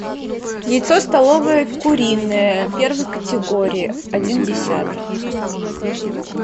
яйцо столовое куриное первой категории один десяток